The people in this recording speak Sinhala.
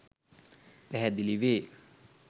පැහැදිලි වේ.